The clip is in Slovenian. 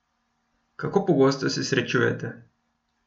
Kako pogosto se srečujeta?